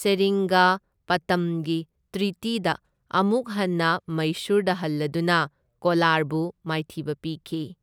ꯁꯦꯔꯤꯡꯒꯄꯇꯝꯒꯤ ꯇ꯭ꯔꯤꯇꯤꯗ ꯑꯃꯨꯛ ꯍꯟꯅ ꯃꯩꯁꯨꯔꯗ ꯍꯜꯂꯗꯨꯅ ꯀꯣꯂꯥꯔꯕꯨ ꯃꯥꯏꯊꯤꯕ ꯄꯤꯈꯤ꯫